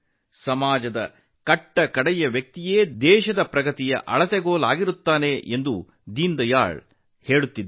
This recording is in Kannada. ದೇಶದ ಪ್ರಗತಿಯ ಅಳತೆಗೋಲು ಅತ್ಯಂತ ಕೆಳಸ್ತರದಲ್ಲಿರುವ ವ್ಯಕ್ತಿಯಾಗಿರುತ್ತಾನೆ ಎಂದು ದೀನದಯಾಳ್ ಉಪಾಧ್ಯಾಯ ಅವರು ಹೇಳುತ್ತಿದ್ದರು